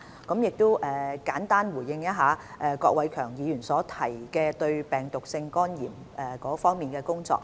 我亦簡單回應一下郭偉强議員提及應對病毒性肝炎的工作。